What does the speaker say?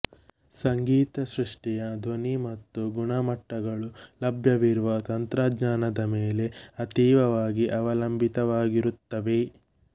ಸಂಗೀತ ಸೃಷ್ಟಿಯ ಧ್ವನಿ ಮತ್ತು ಗುಣಮಟ್ಟಗಳು ಲಭ್ಯವಿರುವ ತಂತ್ರಜ್ಞಾನದ ಮೇಲೆ ಅತೀವವಾಗಿ ಅವಲಂಬಿತವಾಗಿರುತ್ತವೆ